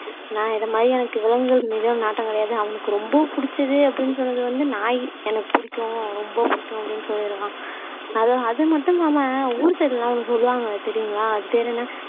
நான் இதை மாதிரி எனக்கு விலங்குகள் மீதும் நாட்டம் கிடையாது அவனுக்கு ரொம்ப பிடிச்சது அப்படின்னு சொன்னது வந்து நாயி எனக்கு பிடிக்கும் ரொம்ப பிடிக்கும் அப்படின்னு சொல்லி இருக்கான் அது அது மட்டும் இல்லா ஊர் சைடு எல்லாம் ஒண்ணு சொல்லுவாங்க தெரியுங்களா அது பேரு என்ன